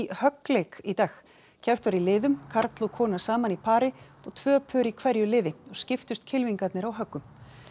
höggleik í dag keppt var í liðum karl og kona saman í pari og tvö pör í hverju liði og skiptust kylfingarnir á höggum